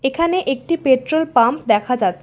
এখানে একটি petrol pump দেখা যাচ্ছে।